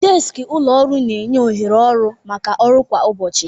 Deskị ụlọ ọrụ na-enye ohere ọrụ maka ọrụ kwa ụbọchị.